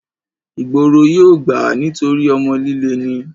ìgboro yóò gbà á nítorí ọmọ líle ni